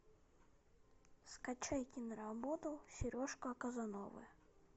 скачай киноработу сережка казановы